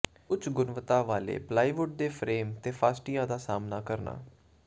ਉੱਚ ਗੁਣਵੱਤਾ ਵਾਲੇ ਪਲਾਈਵੁੱਡ ਦੇ ਫਰੇਮ ਤੇ ਫਾਸਟਿਆਂ ਦਾ ਸਾਹਮਣਾ ਕਰਨਾ